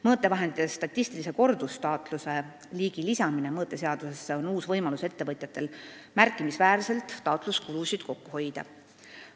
Mõõtevahendite statistilise kordustaatluse liigi lisamine mõõteseadusesse annab ettevõtjatele võimaluse märkimisväärselt taatluskulusid kokku hoida.